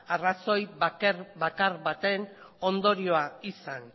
arrazoi bakar baten ondorioa izan